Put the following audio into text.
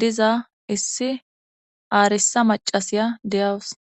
diza issi aarrissa maccasiya de'awus.